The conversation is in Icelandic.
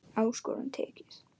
Áskorun tekið.